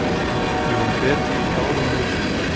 Við vorum betri í báðum leikjunum